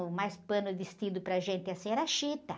O mais pano vestido para gente assim era chita.